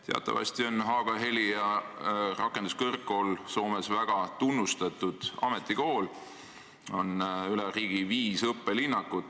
Teatavasti on Haaga-Helia rakenduskõrgkool Soomes väga tunnustatud ametikool, millel on üle riigi viis õppelinnakut.